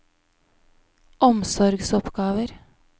omsorgsoppgaver